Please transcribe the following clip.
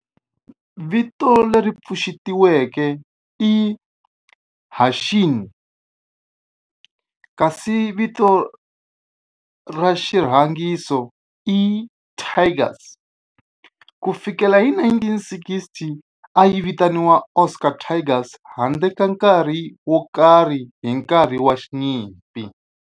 Vito leri pfuxetiweke i Hanshin kasi vito ra xirhangiso i Tigers. Ku fikela hi 1960, a yi vitaniwa Osaka Tigers handle ka nkarhi wo karhi hi nkarhi wa nyimpi.